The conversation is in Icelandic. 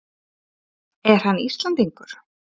Er hann Íslendingur?